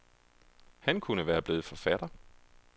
Han kunne være blevet forfatter.